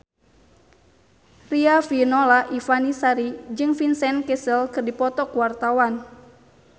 Riafinola Ifani Sari jeung Vincent Cassel keur dipoto ku wartawan